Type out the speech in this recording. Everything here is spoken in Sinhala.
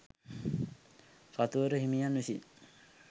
කතුවර හිමියන් විසින්